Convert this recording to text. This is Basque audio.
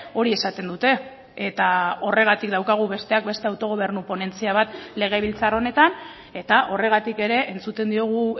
hori esaten dute eta horregatik daukagu besteak beste autogobernu ponentzia bat legebiltzar honetan eta horregatik ere entzuten diogu